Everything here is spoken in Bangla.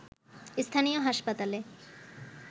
স্থানীয় হাসপাতালে